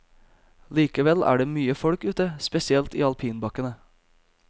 Likevel er det mye folk ute, spesielt i alpinbakkene.